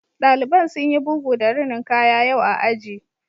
Ɗaliban sun yi bugu da rinin kaya yau a aji